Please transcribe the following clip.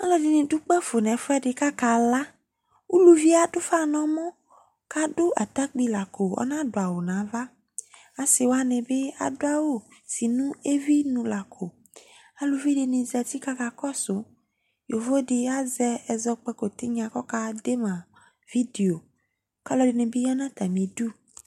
Alʋɛdɩnɩ dʋ kpafo nʋ ɛfʋɛdɩ kʋ akala Uvi yɛ adʋ ʋfa nʋ ɔmɔ kʋ adʋ atapui la ko Ɔnadʋ awʋ nʋ ava Asɩ wanɩ bɩ adʋ awʋ si nʋ evinu la ko Aluvi dɩnɩ zati kʋ akakɔsʋ Yovo dɩ bɩ azɛ ɛzɔkpako tɩnya kʋ ɔkade ma vidio kʋ alʋɛdɩnɩ ya nʋ atamɩdu